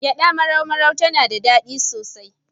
Gyaɗa marau-marau tana da daɗi sosai.